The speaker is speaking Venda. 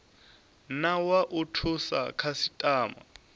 na wa u thusa khasitama